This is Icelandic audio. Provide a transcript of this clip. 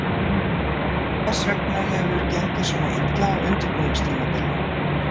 Hvers vegna hefur gengið svona illa á undirbúningstímabilinu?